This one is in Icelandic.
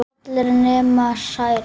Allar nema Særún